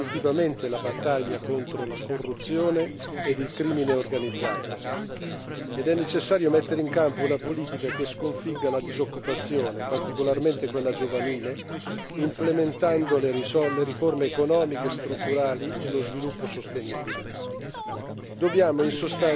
È indispensabile ingaggiare definitivamente la battaglia contro la corruzione e il crimine organizzato ed è necessario mettere in campo una politica che sconfigga la disoccupazione, particolarmente quella giovanile, implementando le riforme economiche e strutturali e lo sviluppo sostenibile.